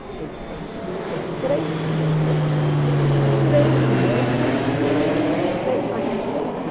Porque eles têm ele tem três tiaras, três mantos e três mais não sei o quê.